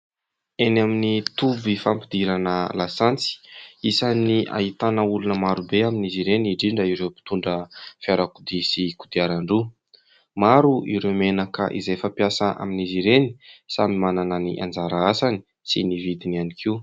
Eny amin'ny toby fampidirana lasantsy, isan'ny ahitana olona marobe amin'izy ireny indrindra ireo mpitondra fiarakodia sy kodiaran-droa. Maro ireo menaka izay fampiasa amin'izy ireny. Samy manana ny anjara asany sy ny vidiny ihany koa.